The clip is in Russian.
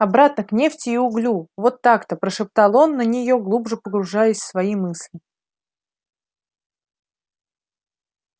обратно к нефти и углю вот так-то прошептал он на нее глубже погружаясь в свои мысли